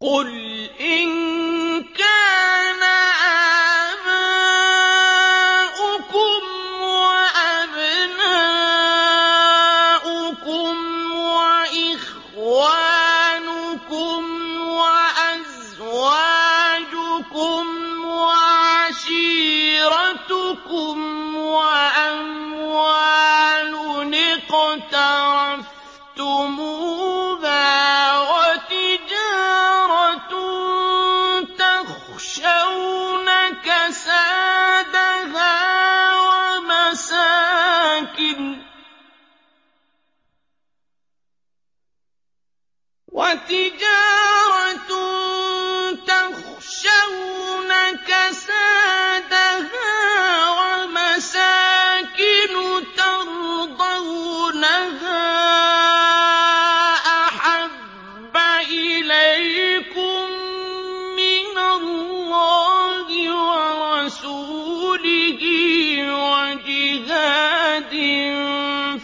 قُلْ إِن كَانَ آبَاؤُكُمْ وَأَبْنَاؤُكُمْ وَإِخْوَانُكُمْ وَأَزْوَاجُكُمْ وَعَشِيرَتُكُمْ وَأَمْوَالٌ اقْتَرَفْتُمُوهَا وَتِجَارَةٌ تَخْشَوْنَ كَسَادَهَا وَمَسَاكِنُ تَرْضَوْنَهَا أَحَبَّ إِلَيْكُم مِّنَ اللَّهِ وَرَسُولِهِ وَجِهَادٍ